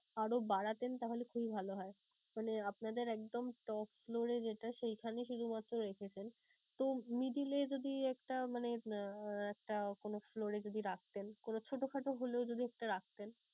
আরো বাড়াতেন তাহলে খুবই ভালো হয়. মানে আপনাদের একদম top floor এ যেটা সেইখানে শুধুমাত্র রেখেছেন. তো middle এ যদি একটা মানে উম একটা কোনো floor এ যদি রাখতেন, কোনো ছোটোখাটো হলেও যদি একটা রাখতেন